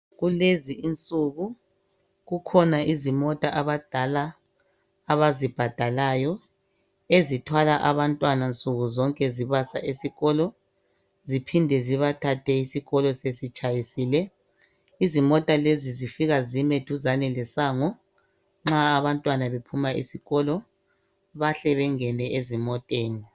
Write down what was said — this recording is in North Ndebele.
Kulezi insuku kukhona izimota abadala abazibhadalayo . Ezithwala abantwana nsuku zonke zibasa esikolo ziphinde zibathathe isikolo sesitshayisile .Izimota lezi zifika zime duzane lesango .Nxa abantwana bephuma esikolo bahle bengene ezimoteni .